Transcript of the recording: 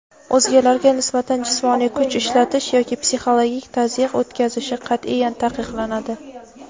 o‘zgalarga nisbatan jismoniy kuch ishlatish yoki psixologik tazyiq o‘tkazishi qat’iyan taqiqlanadi.